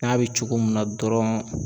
N'a bɛ cogo min na dɔrɔn